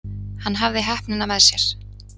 Hann hafði heppnina með sér.